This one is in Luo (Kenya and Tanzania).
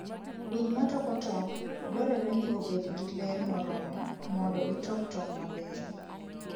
Winy matoko tong' dwarore ni obed gi ler moromo mondo gitok tong' mabeyo.